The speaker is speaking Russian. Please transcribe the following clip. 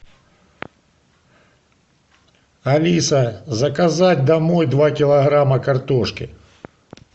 алиса заказать домой два килограмма картошки